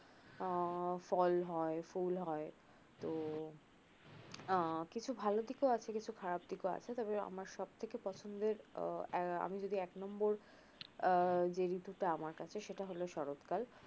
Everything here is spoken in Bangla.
আহ ফল হয় ফুল হয় তো আহ কিছু ভাল দিক ও আছে কিছু খারাপ দিকও আছে তবে আমার সবথেকে পছন্দের আহ আমি যদি এক নম্বর আহ যে ঋতুটা আমার কাছে সেটা হল শরত কাল